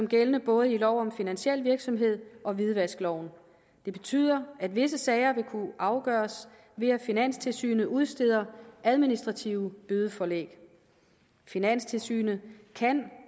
gældende både i lov om finansiel virksomhed og hvidvaskloven det betyder at visse sager vil kunne afgøres ved at finanstilsynet udsteder administrative bødeforlæg finanstilsynet kan